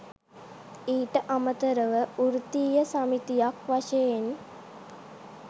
ඊට අමතරව වෘත්තීය සමිතියක් වශයෙන්